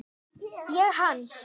Ég hans.